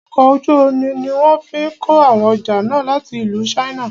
Ọkọ̀ ojú omi ní wọ́n fí kó àwọn ọjà náà láti ìlú china.